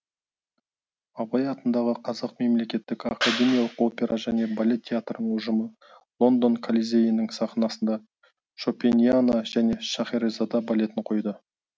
абай атындағы қазақ мемлекеттік академиялық опера және балет театрының ұжымы лондон колизейінің сахнасында шопениана және шехерезада балетін қойды